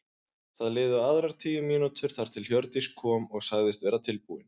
Það liðu aðrar tíu mínútur þar til Hjördís kom og sagðist vera tilbúin.